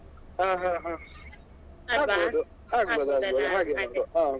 ಹಾ ಹಾ ಹಾಗೆ ಮಾಡುವ ಹಾಗೆ ಮಾಡುವ ಅದೇ ಹಾ.